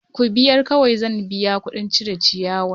Ku biyar kawai zan biya kuɗin cire ciyawan!